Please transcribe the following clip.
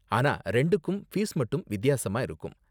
ஆனா ரெண்டுக்கும் ஃபீஸ் மட்டும் வித்தியாசமா இருக்கும்.